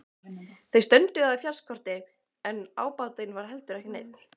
Þeir strönduðu á fjárskorti en ábatinn var heldur ekki neinn.